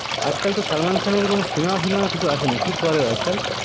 আজ কাল তো সালমান খানের কোনো চিনামা টিনামা কিছু আসে না কি করে ও আজকাল